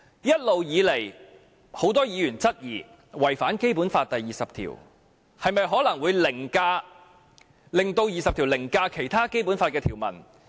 一直以來，很多議員質疑這做法違反《基本法》，這樣會否令《基本法》第二十條凌駕其他條文？